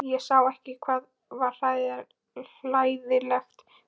Ég sá ekki hvað var hlægilegt við það.